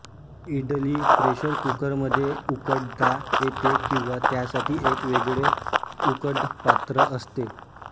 idli pressure कुकरमध्ये उकडता येते किंवा त्यासाठी एक वेगळे उकडपात्र असते